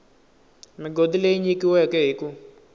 migodi leyi nyikiweke hi ku